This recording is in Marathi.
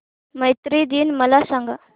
मैत्री दिन मला सांगा